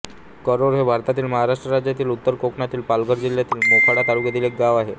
कारोळ हे भारतातील महाराष्ट्र राज्यातील उत्तर कोकणातील पालघर जिल्ह्यातील मोखाडा तालुक्यातील एक गाव आहे